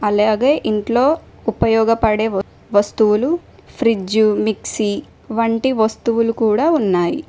అలాగే ఇంట్లో ఉపయోగపడే వస్తువులు ఫ్రిడ్జ్ మిక్సీ వంటి వస్తువులు కూడా ఉన్నాయి.